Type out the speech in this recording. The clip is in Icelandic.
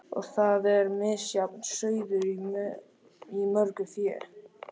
Og þar er misjafn sauður í mörgu fé.